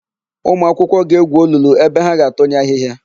Ụmụakwụkwọ ga-egwu olulu ebe ha ga na-atụnye ahịhịa.